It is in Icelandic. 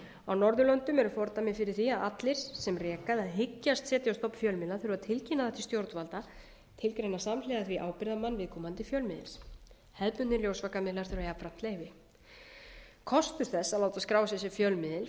á norðurlöndum eru fordæmi fyrir því að allir sem reka eða hyggjast setja á stofn fjölmiðla hyggjast tilgreina það til stjórnvalda tilgreina samhliða því ábyrgðarmann viðkomandi fjölmiðils hefðbundnir ljósvakamiðlar þurfa jafnframt leyfi kostur þess að láta skrá sig sem fjölmiðil